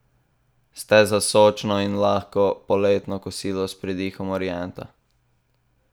Ste za sočno in lahko poletno kosilo s pridihom orienta?